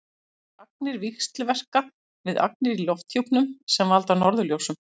þessar agnir víxlverka við agnir í lofthjúpnum sem valda norðurljósum